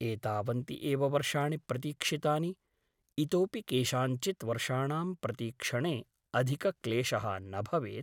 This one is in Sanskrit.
एतावन्ति एव वर्षाणि प्रतीक्षितानि । इतोऽपि केषाञ्चित् वर्षाणां प्रतीक्षणे अधिकक्लेशः न भवेत् ।